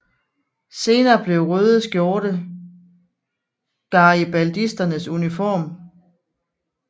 Senere blev røde skjorte garibaldisternes uniform